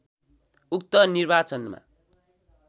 उक्त निर्वाचनमा